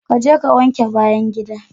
Kaje ka wanke bayan gida.